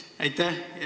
Aitäh!